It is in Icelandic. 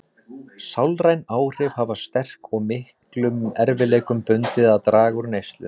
Sálræn áhrif afar sterk og miklum erfiðleikum bundið að draga úr neyslu.